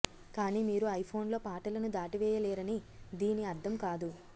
కానీ మీరు ఐఫోన్లో పాటలను దాటవేయలేరని దీని అర్థం కాదు